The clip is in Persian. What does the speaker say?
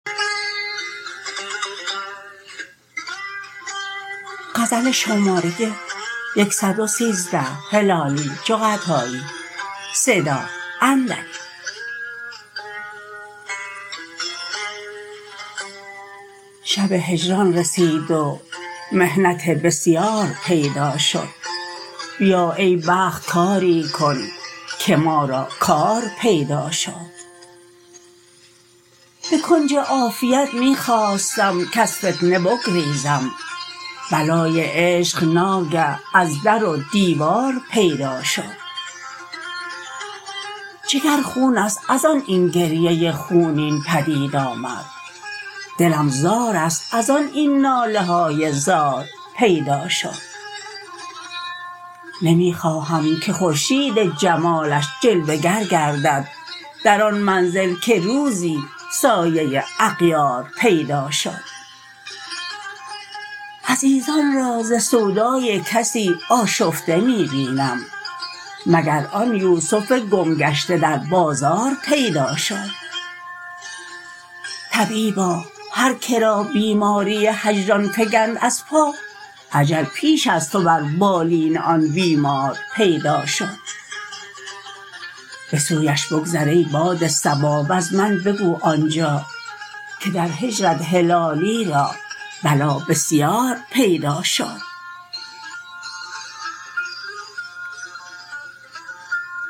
شب هجران رسید و محنت بسیار پیدا شد بیا ای بخت کاری کن که ما را کار پیدا شد بکنج عافیت می خواستم کز فتنه بگریزم بلای عشق ناگه از در و دیوار پیدا شد جگر خونست ازان این گریه خونین پدید آمد دلم زارست ازان این نالهای زار پیدا شد نمی خواهم که خورشید جمالش جلوه گر گردد در آن منزل که روزی سایه اغیار پیدا شد عزیزان را ز سودای کسی آشفته می بینم مگر آن یوسف گم گشته در بازار پیدا شد طبیبا هر کرا بیماری هجران فگند از پا اجل پیش از تو بر بالین آن بیمار پیدا شد بسویش بگذر ای باد صبا وزمن بگو آنجا که در هجرت هلالی را بلا بسیار پیدا شد